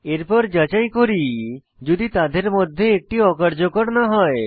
এরপর যাচাই করি যদি তাদের মধ্যে একটি অকার্যকর না হয়